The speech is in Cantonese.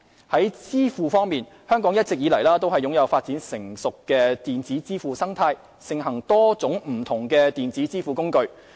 在支付方面，香港一直以來都擁有發展成熟的電子支付生態，盛行多種不同的電子支付工具。